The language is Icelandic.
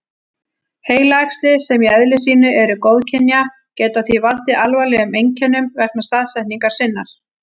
Heilaæxli, sem í eðli sínu eru góðkynja, geta því valdið alvarlegum einkennum vegna staðsetningar sinnar.